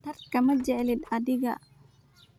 Dadka ma jeclid adiga.